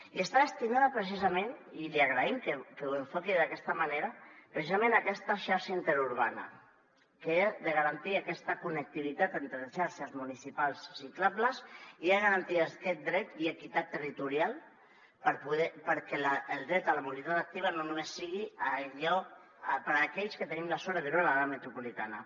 i està destinada precisament i li agraïm que ho enfoqui d’aquesta manera precisament a aquesta xarxa interurbana que ha de garantir aquesta connectivitat entre xarxes municipals ciclables i ha de garantir aquest dret i equitat territorial perquè el dret a la mobilitat activa no només sigui per a aquells que tenim la sort de viure a l’àrea metropolitana